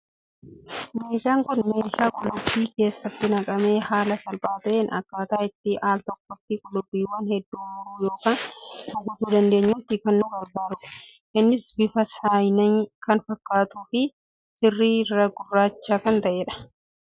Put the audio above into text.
Meeshaan Kun, meeshaa qullubbiin keessatti naqamee haala salphaa ta'een akkataa itti al tokkotti qullubbiiwwan hedduu muruu yookaan kukkutuu dandeenyutti kan nu gargaarudha. Innis bifa saayinaa kan fakkaatuu fi irri isaa gurraacha kan ta'edha.